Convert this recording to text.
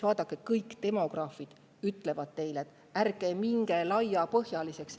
Vaadake, kõik demograafid ütlevad teile, et ärge minge laiapõhjaliseks.